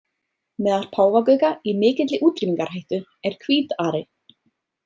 Meðal páfagauka í mikilli útrýmingarhættu er hvít-ari.